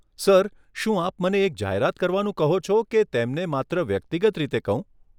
Sir, શું આપ મને એક જાહેરાત કરવાનું કહો છો કે તેમને માત્ર વ્યક્તિગત રીતે કહું?